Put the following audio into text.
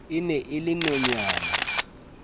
e ne e le nonyana